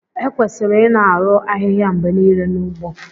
Ekwesịrị ịna-arụ ahịhịa mgbe niile n'ugbo